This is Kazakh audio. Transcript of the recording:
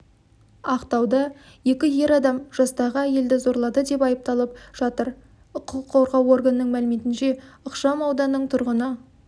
ақтауда екі ер адам жастағы әйелді зорлады деп айыпталып жатыр құқық қорғау органының мәліметінше ықшамауданның тұрғыны